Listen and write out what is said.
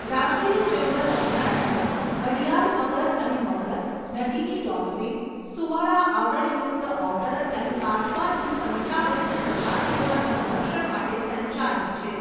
રાષ્ટ્રીય ચંબલ અભયારણ્ય ઘડિયાળ મગર અને મગર, નદીની ડોલ્ફિન, સુંવાળા આવરણ યુક્ત ઓટર અને કાચબાની સંખ્યાબંધ પ્રજાતિઓના સંરક્ષણ માટે સંચાલિત છે.